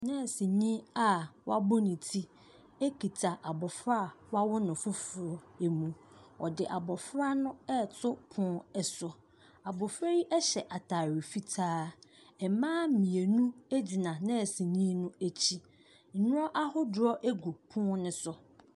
Nɛɛsini a w'abɔ ne ti ekita abɔfra a w'awo no foforɔ ɛmu. Wɔde abɔfra no ɛɛto pon ɛso. Abɔfra yi ɛhyɛ ataare fitaa. Ɛmaa mmienu ɛgyina nɛɛsini no akyi. Nnuro ahodoɔ ɛgu pon no so.